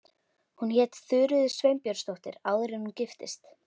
Hún hét Þuríður Sveinbjörnsdóttir áður en hún giftist.